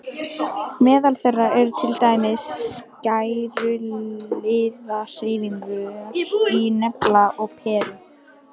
Meðal þeirra eru til dæmis skæruliðahreyfingar í Nepal og Perú.